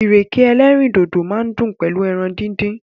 Ìrèké ẹlẹ́rìndòdò máa dùn pẹ̀lú ẹran díndín.